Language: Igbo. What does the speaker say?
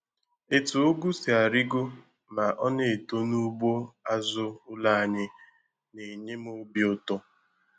Etu Ụgụ si arigo ma ọ na-eto n'ugbo azụ ụlọ anyị na-enye m obi ụtọ.